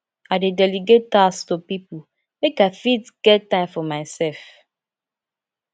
i dey delegate tasks to pipo make i fit get time for mysef